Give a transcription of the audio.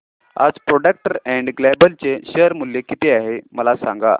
आज Procter and Gamble चे share मूल्य किती आहे मला सांगा